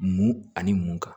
Mun ani mun kan